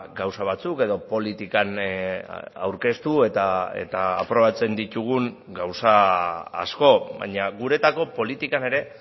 gauza batzuk edo politikan aurkeztu eta aprobatzen ditugun gauza asko baina guretzako politikan ere